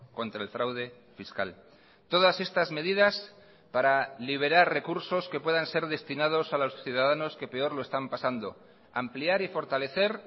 contra el fraude fiscal todas estas medidas para liberar recursos que puedan ser destinados a los ciudadanos que peor lo están pasando ampliar y fortalecer